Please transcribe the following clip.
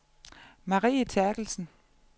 Marie Terkelsen